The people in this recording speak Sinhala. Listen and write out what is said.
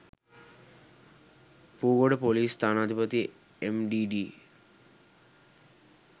පූගොඩ පොලිස් ස්ථානාධිපති එම්.ඞී.ඞී.